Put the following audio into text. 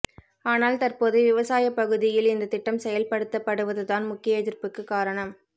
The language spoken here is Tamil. ஆனால் தற்போது விவசாயப் பகுதியில் இந்தத் திட்டம் செயல்படுத்தப்படுவதுதான் முக்கிய எதிர்ப்புக்குக் காரணம்